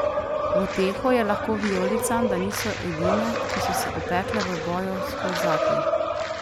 V uteho je lahko vijolicam, da niso edine, ki so se opekle v boju s kozaki.